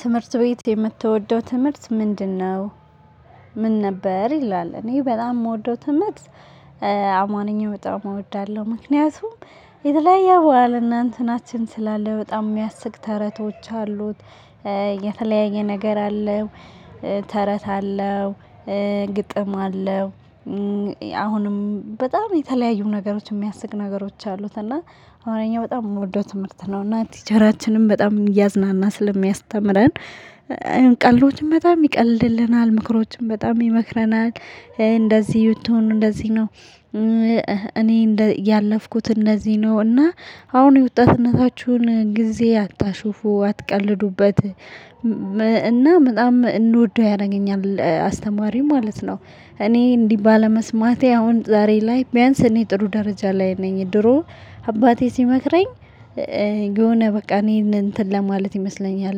ትምህርት ቤት የምትወደው ትምህርት ምንድን ነው? ምን ነበር ይላል እኔ በጣም ምወደው ትምህርት። አማርኛ በጣም እወዳለሁ ምክንያቱም የተለያየ ባህል እና እናንተ ናችን ስላለ በጣም የሚያስቅ ተረቶች አሉት። የተለያየ ነገር አለው። ተረት አለው። ግጥም አለው። አሁንም በጣም የተለያዩ ነገሮች የሚያስቅ ነገሮች አሉት እና አሁን ደግሞ በጣም የምወደው ትምህርት ነው። እና ቲቸራችንም በጣም እያዝናና ስለሚያስተምረን። ቀልዶችን በጣም ይቀልድልናል ምክሮችን በጣም ይመክረናል። እንደዚህ ብትሆኑ እንደዚህ ነው። እኔ እንደ ያለፍኩት እንደዚህ ነው እና አሁን የወጣትነታችሁን ጊዜ አታሽፉ አትቀልዱበት። እና በጣም እንድወደው ያረገኛል አስተማሪም ማለት ነው። እኔ እንዲህ ባለመስማቴ አሁን ዛሬ ላይ ቢያንስ እኔ ጥሩ ደረጃ ላይ ነኝ። ድሮ አባቴ ሲመክረኝ የሆነ በቃ እኔን እንትን ለማለት ይመስለኛል።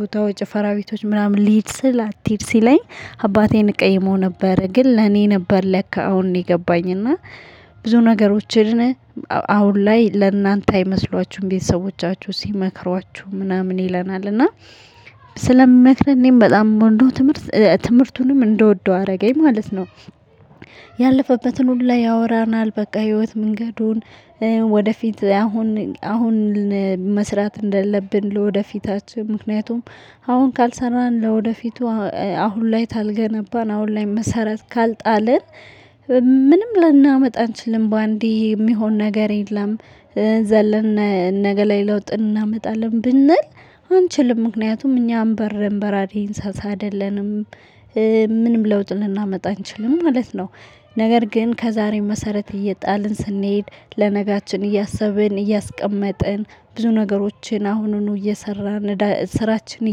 ቦታው ጭፈራ ቤቶች ምናምን ልሂድ ስል አትሂጅ ሲለኝ። አባቴን እቀይመው ነበር ግን ለኔ ነበር ለካ አሁን እኔ ገባኝ እና። ብዙ ነገሮችን አሁን ላይ ለእናንተ አይመስሏችሁም ቤተሰቦቻችሁ ሲመክሯችሁ ምናምን ይለናል። እና ስለምክረነም በጣም ምወዶው ትምህርት ትምህርቱንም እንደወደው አረገኝ ማለት ነው። ያለፈበትን ሁላ ያወራናል በቃ ህይወት መንገዱን። ወደፊት አሁን አሁን መስራት እንደለብን ለወደፊታችን ምክንያቱም አሁን ካልሰራን ለወደፊቱ አሁን ላይ ታልገነባን አሁን ላይ መሰረት ካልጣልን። ምንም ልናመጣ አንችልም በአንዴ የሚሆን ነገር የለም። ዘለን ነገ ላይ ለውጥ እናመጣለን ብንል አንችልም ምክንያቱም እኛም አንበርም በራሪ እንሰሳ አይደለንም ምንም ለውጥ ልናመጣ አንችልም ማለት ነው። ነገር ግን ከዛሬም መሰረት እየጣልን ስንሄድ ለነጋችን እያሰብን እያስቀመጥን ብዙ ነገሮችን አሁኑኑ እየሰራን ስራችንን።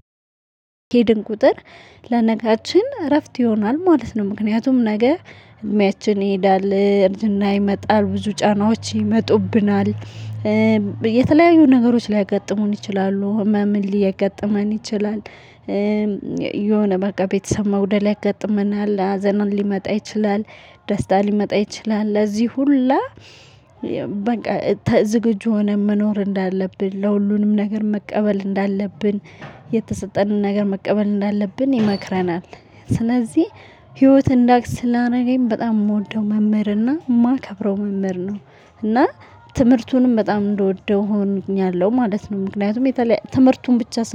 እየሄድን ቁጥር ለነገራችን እረፍት ይሆናል ማለት ነው። ምክንያቱም ነገ እድሜያችን ይሄዳል አርጅና ይመጣል ብዙ ጫናዎች ይመጡብናል። የተለያዩ ነገሮች ሊያጋጥሙን ይችላሉ ህመምን ሊያጋጥመን ይችላል። የሆነ በቃ ቤተሰብ መጉደል ያገጥመናል ሀዘናን ሊመጣ ይችላል። ደስታ ሊመጣ ይችላል ለዚህ ሁላ ዝግጁ ሆነን መኖር እንዳለብን ለሁሉንም ነገር መቀበል እንዳለብን። የተሰጠንን ነገር መቀበል እንዳለብን ይመክረናል። ስለዚህ ህይወትን እንዳቅ ስላረገኝ በጣም የምወደው መምህር እና ማከብረው መምህር ነው። እና ትምህርቱንም በጣም እንደወደው ሆኛለሁ ማለት ነው ምክንያቱም የተለያየ ትምህርቱን ብቻ ስን